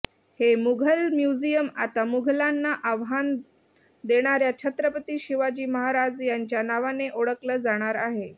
हे मुघल म्युझियम आता मुघलांना आव्हान देणाऱ्या छत्रपती शिवाजी महाराज यांच्या नावाने ओळखलं जाणार आहे